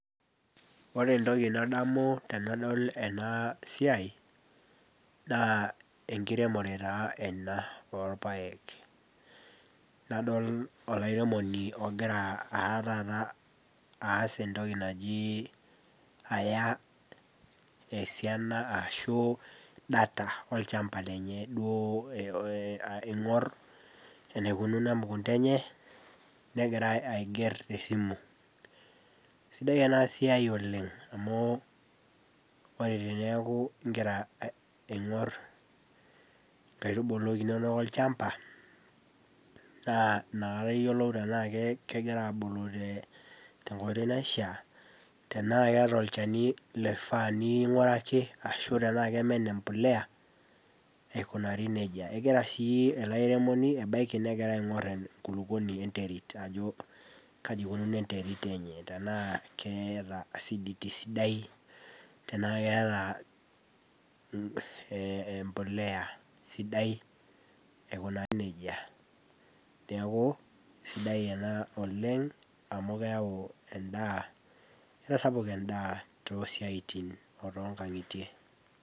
ore entoki nadamu tenadol ena siiai naa enkiremore taa ena oolpaek, nadol olairemoni ogira taa taata aas entoki naji aya esiana ashu, data olchamap lenye, aing'or, enaikununo emukunta enye, negira aiger tesimu, sidia ena siai oleng, amu ore teneeku igira ing'or, nkaitubulu inonok olchampa, naa inakata iyiolou tenaa kegira aabulu te nkoitoi naishaa, tena keeta olchani loifaa ning'uaraki aashu enaa kemen empuliya, aikunari nejia. egira sii ele airemoni, ebaiki negira ing'or enkulupuonii enterit ajo, kaji ikununo enterit enye, tenaa keeta acidities. sidai, tenaa keeta empuliya sidai aikunari nejia, neeku sidai ena oleng amu keyau edaa, kesapuk eda toosiatin o too nkang'itie.